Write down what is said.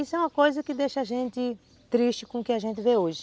Isso é uma coisa que deixa a gente triste com o que a gente vê hoje.